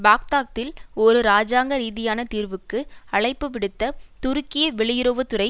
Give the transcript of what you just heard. பாக்தாத்தில் ஒரு இராஜாங்க ரீதியான தீர்வுக்கு அழைப்பு விடுத்த துருக்கிய வெளியுறவு துறை